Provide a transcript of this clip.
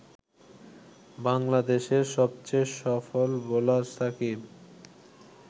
বাংলাদেশের সবচেয়ে সফল বোলার সাকিব